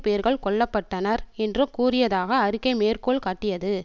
பேர்கள் கொல்ல பட்டனர் என்று கூறியதாக அறிக்கை மேற்கோள் காட்டியது